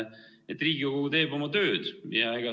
Riigikogu teeb oma tööd!